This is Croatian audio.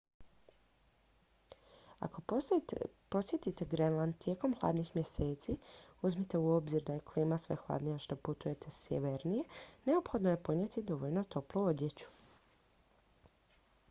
ako posjetite grenland tijekom hladnih mjeseci uzmite u obzir da je klima sve hladnija što putujete sjevernije neophodno je ponijeti dovoljno toplu odjeću